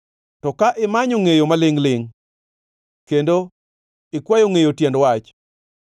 to ka imanyo ngʼeyo malingʼ-lingʼ, kendo ikwayo ngʼeyo tiend wach,